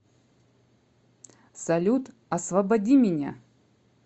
салют освободи меня